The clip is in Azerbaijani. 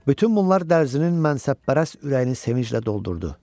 Bütün bunlar Dərzinin mənsəbpərəst ürəyini sevinclə doldurdu.